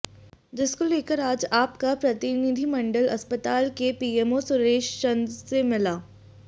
जिसको लेकर आज आप का प्रतिनिधिमंडल अस्पताल के पीएमओ सुरेशचंद से मिला